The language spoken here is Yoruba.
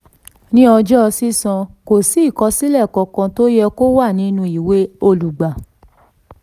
ní ọjọ́ sísan kò sí ìkọsílẹ̀ kankan tó yẹ kó wà nínú ìwé olùgbà.